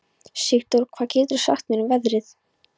Sigdór, hvað geturðu sagt mér um veðrið?